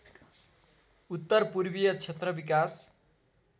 उत्तरपूर्वीय क्षेत्र विकास